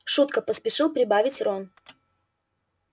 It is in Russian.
шутка поспешил прибавить рон